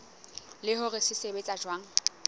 le hore se sebetsa jwang